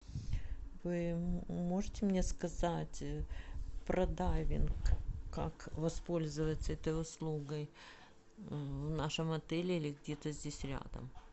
вы можете мне сказать про дайвинг как воспользоваться этой услугой в нашем отеле или где то здесь рядом